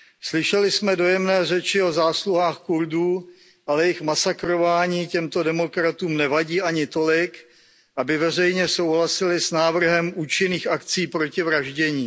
Slyšeli jsme dojemné řeči o zásluhách Kurdů, ale jejich masakrování těmto demokratům nevadí ani tolik, aby veřejně souhlasili s návrhem účinných akcí proti vraždění.